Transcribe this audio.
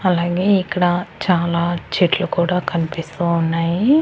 అలాగే ఇక్కడ చాలా చెట్లు కూడ కనిపిస్తూ ఉన్నాయి.